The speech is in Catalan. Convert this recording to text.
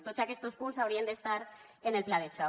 tots aquests punts haurien d’estar en el pla de xoc